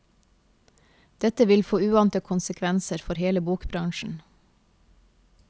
Dette vil få uante konsekvenser for hele bokbransjen.